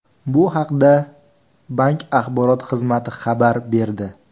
Bu haqda bank axborot xizmati xabar berdi .